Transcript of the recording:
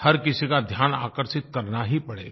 हर किसी का ध्यान आकर्षित करना ही पड़ेगा